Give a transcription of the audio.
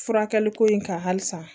Furakɛli ko in kan halisa